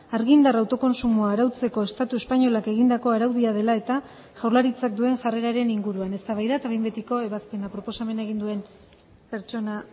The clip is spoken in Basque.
argindar autokontsumoa arautzeko estatu espainolak egindako araudia dela eta jaurlaritzak duen jarreraren inguruan eztabaida eta behin betiko ebazpena proposamena egin duen pertsona